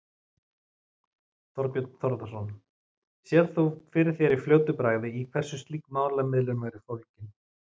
Þorbjörn Þórðarson: Sérð þú fyrir þér í fljótu bragði í hverju slík málamiðlun væri fólgin?